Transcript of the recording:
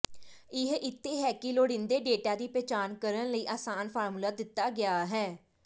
ਇਹ ਇੱਥੇ ਹੈ ਕਿ ਲੋੜੀਂਦੇ ਡੇਟਾ ਦੀ ਪਛਾਣ ਕਰਨ ਲਈ ਆਸਾਨ ਫਾਰਮੂਲਾ ਦਿੱਤਾ ਗਿਆ ਹੈ